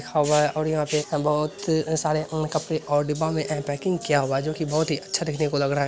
हवे और यहाँ पे बहुत अ सारे कपड़े और डिब्बा में ए पैकिंग किया हुआ है जो के बहुत अच्छा दिखने को लग रहा है।